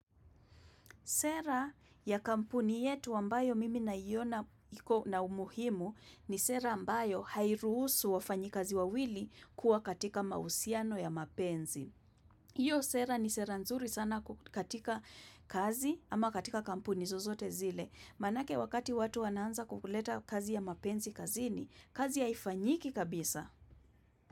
Sera ya kampuni yetu ambayo mimi naiona iko na umuhimu ni sera ambayo hairuhusu wafanyikazi wawili kuwa katika mahusiano ya mapenzi. Iyo sera ni sera nzuri sana katika kazi ama katika kampuni zozote zile. Maanake wakati watu wanaanza kukuleta kazi ya mapenzi kazini kazi haifanyiki kabisa.